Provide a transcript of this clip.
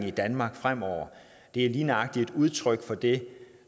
i danmark fremover lige nøjagtig er et udtryk for det